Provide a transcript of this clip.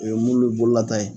O ye mulu bololata ye